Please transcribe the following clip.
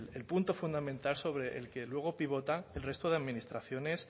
el punto fundamental sobre el que luego pivotan el resto de administraciones